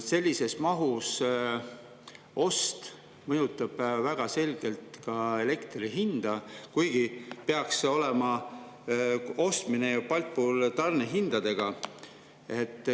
Sellises mahus ost mõjutab väga selgelt ka elektri hinda, kuigi see ostmine peaks olema Baltpooli tarnehindadega.